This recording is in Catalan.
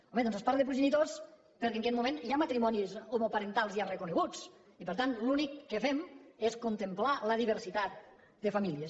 home doncs es parla de progenitors perquè en aquest moment hi ha matrimonis homoparentals ja reconeguts i per tant l’únic que fem és contemplar la diversitat de famílies